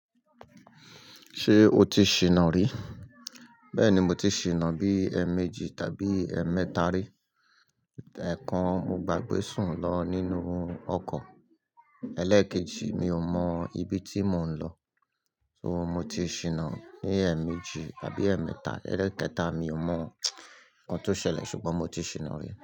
Ṣé o ti ṣìnà rí? Bẹ́ẹ̀ ni mo ti ṣìnà bí ẹ̀ẹ̀méjì tàbí ẹ̀ẹ̀mẹ́ta rí. Ẹ̀ẹ̀kan mo gbàgbé sùn lọ nínú ọkọ̀, elékejì mi ò mọ ibi tí mò ń lọ, so mo ti ṣìnà ní ẹ̀ẹ̀méjì tàbí ẹ̀ẹ̀mẹ́ta, ẹlẹ́ẹ̀kẹta mi ò mọ ohun tó ṣẹlẹ̀ ṣùgbọ́n mo ti ṣìnà rí.